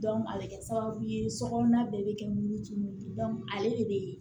a bɛ kɛ sababu ye sokɔnɔna bɛɛ bɛ kɛ mun ji mun ye ale de bɛ